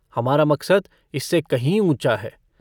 हमारा मकसद इससे कहीं ऊँचा है।